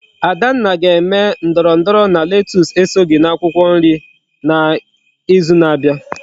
Adanna ga eme ndoro ndoro na lettuce esoghi na akwukwo nri na izu na abia